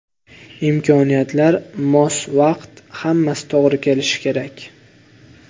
Imkoniyatlar, mos vaqt hammasi to‘g‘ri kelishi kerak.